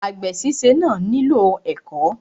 Àgbè síse náà nílò ẹ̀kọ́.